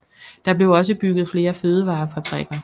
Der blev også bygget flere fødevarerfabrikker